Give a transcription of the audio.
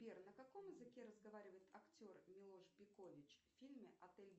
сбер на каком языке разговаривает актер милош бикович в фильме отель